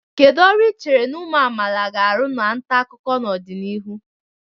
Kedu ọrụ ị chere na ụmụ amaala ga-arụ na nta akụkọ n'ọdịnihu?